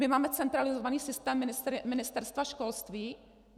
My máme centralizovaný systém Ministerstva školství?